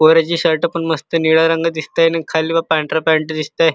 पोराची shirt पण मस्त निळ्या रंगाची दिसते आणि खाली पांढरा पॅन्ट दिसतय.